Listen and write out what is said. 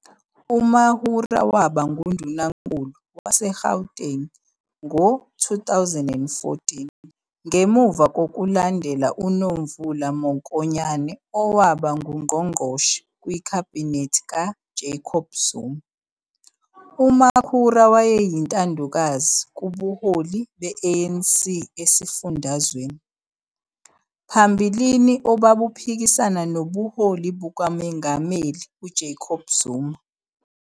UMakhura waba nguNdunankulu waseGauteng ngo-2014 ngemuva kokulandela uNomvula Mokonyane owaba ngungqongqoshe kwikhabhinethi kaJacob Zuma. UMakhura wayeyintandokazi kubuholi be-ANC esifundazweni, phambilini obabuphikisana nobuholi bukaMengameli Jacob Zuma.